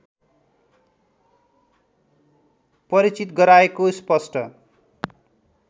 परिचित गराएको स्पष्ट